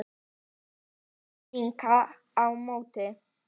Hún vinkar á móti.